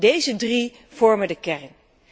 Deze drie vormen de kern.